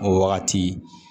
O wagati